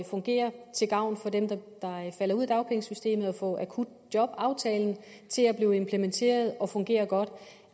fungere til gavn for dem der falder ud af dagpengesystemet og få akutjobaftalen til at blive implementeret og fungere godt